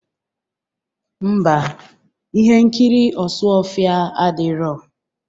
Ḿbà, ihe nkiri ọsụọfịa adịrọ.